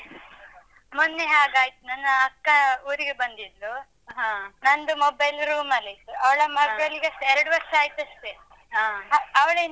ಮೊನ್ನೆ ಹಾಗಾಯ್ತು. ನನ್ನ ಅಕ್ಕ ಊರಿಗೆ ಬಂದಿದ್ಲು. ನಂದು mobile room ಲ್ಲಿತ್ತು. ಅವ್ಳ ಮಗ್ಗಳಿಗೆ ಸ ಎರಡು ವರ್ಷ ಆಯ್ತಷ್ಟೆ. ಅ, ಅವಳೆಂತಕ್